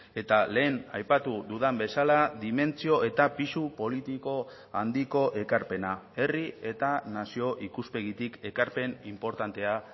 eta lehen aipatu dudan bezala dimentsio eta pisu politiko handiko ekarpena herri eta nazio ikuspegitik ekarpen inportantea